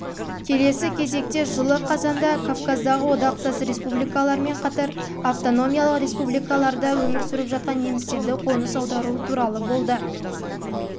келесі кезекте жылы қазанда кавказдағы одақтас республикалармен қатар автономиялық республикаларда да өмір сүріп жатқан немістерді қоныс аудару туралы